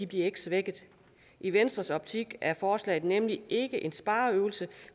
bliver svækket i venstres optik er forslaget nemlig ikke en spareøvelse